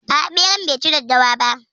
A'a, beran bai ci daddawa ba.